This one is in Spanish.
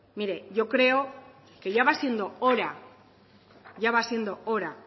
mire yo creo que ya va siendo hora ya va siendo hora